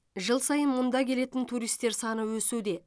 жыл сайын мұнда келетін туристер саны өсуде